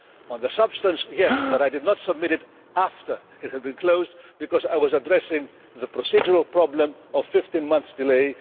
Because of the substance, yes, but I did not submit it after it had been closed, because I was addressing the procedural problem of 15 months' delay.